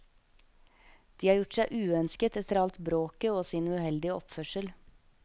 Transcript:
De har gjort seg uønsket etter alt bråket og sin uheldige oppførsel.